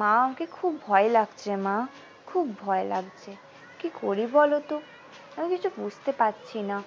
মা আমাকে খুব ভয় লাগছে মা খুব ভয় লাগছে কি করি বলতো আমি কিছু বুঝতে পারছি না